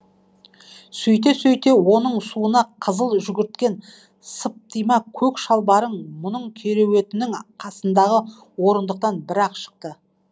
сөйте сөйте оның суына қызыл жүгірткен сыптима көк шалбары кереуетінің қасындағы орындықтан бір ақ шықты